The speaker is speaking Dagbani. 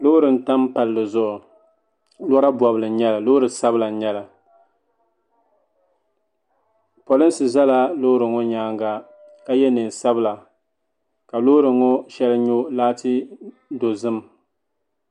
Loori n tam palli zuɣu lora bobli loori sabla n nyɛli polinsi zala Loori ŋɔ nyaanga ka ye niɛn sabla ka loori ŋɔ sheli nyo laati dozim.